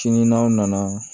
Sini n'aw nana